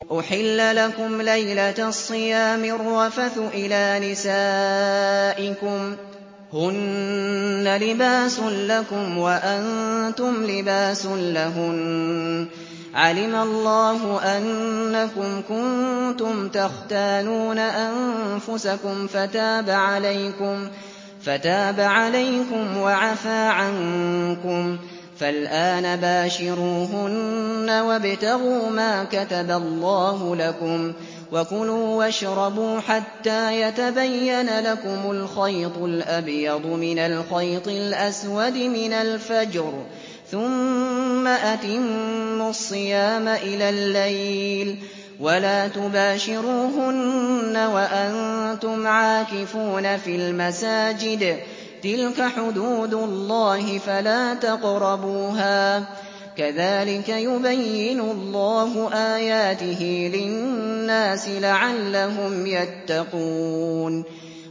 أُحِلَّ لَكُمْ لَيْلَةَ الصِّيَامِ الرَّفَثُ إِلَىٰ نِسَائِكُمْ ۚ هُنَّ لِبَاسٌ لَّكُمْ وَأَنتُمْ لِبَاسٌ لَّهُنَّ ۗ عَلِمَ اللَّهُ أَنَّكُمْ كُنتُمْ تَخْتَانُونَ أَنفُسَكُمْ فَتَابَ عَلَيْكُمْ وَعَفَا عَنكُمْ ۖ فَالْآنَ بَاشِرُوهُنَّ وَابْتَغُوا مَا كَتَبَ اللَّهُ لَكُمْ ۚ وَكُلُوا وَاشْرَبُوا حَتَّىٰ يَتَبَيَّنَ لَكُمُ الْخَيْطُ الْأَبْيَضُ مِنَ الْخَيْطِ الْأَسْوَدِ مِنَ الْفَجْرِ ۖ ثُمَّ أَتِمُّوا الصِّيَامَ إِلَى اللَّيْلِ ۚ وَلَا تُبَاشِرُوهُنَّ وَأَنتُمْ عَاكِفُونَ فِي الْمَسَاجِدِ ۗ تِلْكَ حُدُودُ اللَّهِ فَلَا تَقْرَبُوهَا ۗ كَذَٰلِكَ يُبَيِّنُ اللَّهُ آيَاتِهِ لِلنَّاسِ لَعَلَّهُمْ يَتَّقُونَ